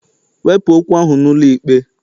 Wepụ okwu ahụ n'ụlọikpe!